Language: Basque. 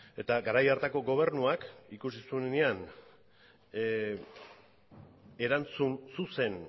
eta garai hartako gobernuak ikusi zuenean erantzun zuzen